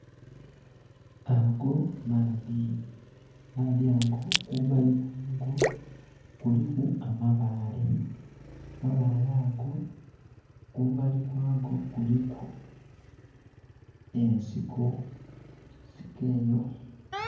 Aago maadhi, amaadhi ago kumbali kwago kuliku amabaale, amabaale ago kumbali kwago kuliku ensiko ensiko eyo.